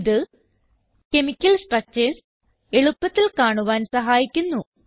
ഇത് chemical structures എളുപ്പത്തിൽ കാണുവാൻ സഹായിക്കുന്നു